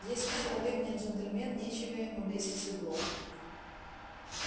если человек не джентльмен нечего ему лезть в седло